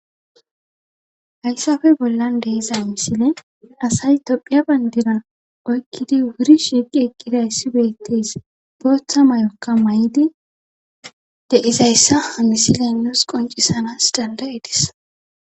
hayssafe bollan deiza misile asay tophiya bayndira oykkidi wuri shiiqi eqqiday si betteys booththa may7okka may7idi deizayssa hamisile nuus qoncisanas dandayedis